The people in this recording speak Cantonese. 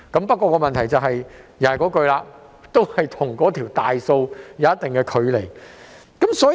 不過，問題仍然在於這與整體失業人數有一定的距離。